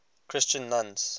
christian nuns